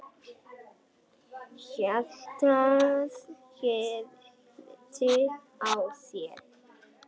Hjartað herti á sér.